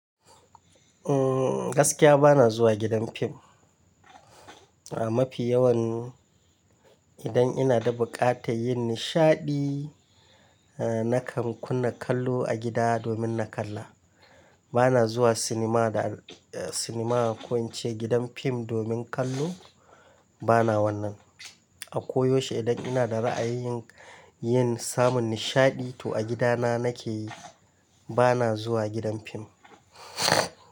Umm, gaskiya ba na zuwa gidan fim. A mafi yawan idan ina da buƙatar yin nishaɗi, nakan kunna kallo a gida domin na kalla. Ba na zuwa sinima da, sinima a koyance gidan fim domin kallo, ba na wannan. A ko yaushe idan ina da ra'ayin yin samun nishaɗi to a gidana nake yi, ba na zuwa gidan fim.